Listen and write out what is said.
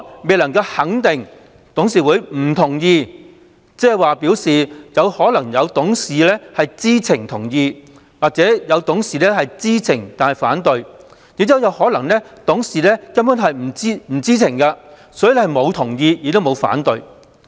未能肯定董事會不同意，即可能有董事在知情下同意或有董事在知情下反對，亦有可能是董事根本不知情，所以既沒有給予同意亦沒有反對。